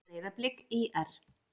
Breiðablik- ÍR